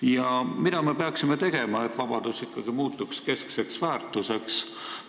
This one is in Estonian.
Ja mida me peaksime tegema, et vabadus muutuks ikkagi keskseks väärtuseks?